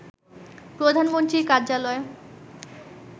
প্রধানমন্ত্রীর কার্যালয়